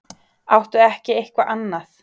Áttu ekki eitthvað annað?